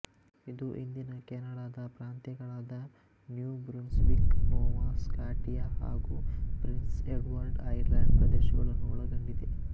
ಇದು ಇಂದಿನ ಕೆನಡಾದ ಪ್ರಾಂತ್ಯಗಳಾದ ನ್ಯೂ ಬ್ರುನ್ಸ್ವಿಕ್ ನೋವ ಸ್ಕಾಟಿಯ ಹಾಗು ಪ್ರಿನ್ಸ್ ಎಡ್ವರ್ಡ್ ಐಲ್ಯಾಂಡ್ ಪ್ರದೇಶಗಳನ್ನು ಒಳಗೊಂಡಿದೆ